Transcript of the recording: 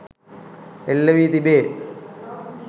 එල්ල වී තිබේ.